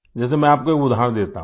जैसे मैं आपको एक उदाहरण देता हूँ